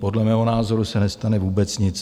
Podle mého názoru se nestane vůbec nic.